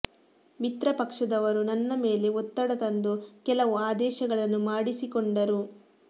ಮಿತ್ರ ಪಕ್ಷದವರು ನನ್ನ ಮೇಲೆ ಒತ್ತಡ ತಂದು ಕೆಲವು ಆದೇಶಗಳನ್ನು ಮಾಡಿಸಿಕೊಂಡರು